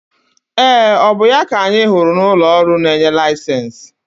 Ee! Ọ bụ ya ka anyị hụrụ n'ụlọ ọrụ na-enye laịsensị?